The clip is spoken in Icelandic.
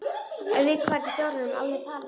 Við hvern í fjáranum á ég að tala?